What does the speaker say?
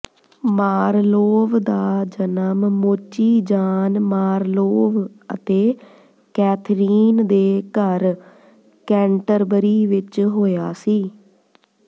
Marlowe ਦਾ ਜਨਮ ਮੋਚੀ ਜਾਨ ਮਾਰਲੋਵ ਅਤੇ ਕੈਥਰੀਨ ਦੇ ਘਰ ਕੈਂਟਰਬਰੀ ਵਿੱਚ ਹੋਇਆ ਸੀ